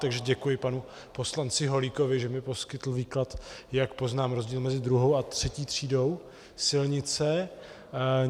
Takže děkuji panu poslanci Holíkovi, že mi poskytl výklad, jak poznám rozdíl mezi II. a III. třídou silnice.